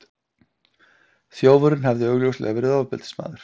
Þjófurinn hafði augljóslega verið ofbeldismaður.